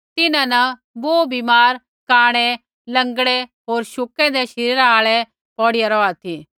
तिन्हां न बोहू बीमार कांणै लँगड़ै होर शुकै शरीरा आल़ै पाणी हिलणै री आशा न पौड़ीया रौहा ती